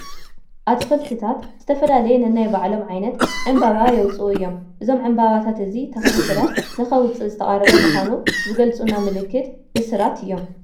ኣትክልትታት ዝተፈላለየ ነናይ ባዕሎም ዓይነት ዕምበባ የውፅኡ እዮም፡፡ እዞም ዕምበባታት እቲ ተኽሊ ፍረ ንከውፅእ ዝተቓረበ ምዃኑ ዝገልፁልና ምልክት ብስራት እዮም፡፡